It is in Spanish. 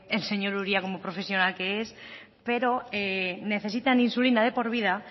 el señor uria como profesional que es pero necesitan insulina de por vida